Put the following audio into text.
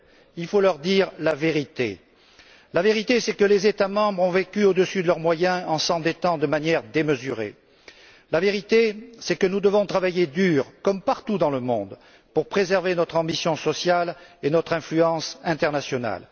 Il faut leur dire la vérité, à savoir que les États membres ont vécu au dessus de leurs moyens en s'endettant de manière démesurée. Que nous devons travailler dur comme partout dans le monde pour préserver notre ambition sociale et notre influence internationale.